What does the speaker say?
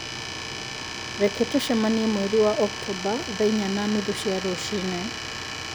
Reke tũcemanie mweri wa Oktomba thaa inya na nuthu cia rũcinĩ